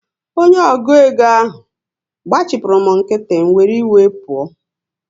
Onye ọgụ égo ahụ gbachipuru m nkịtị, m wee were iwe pụọ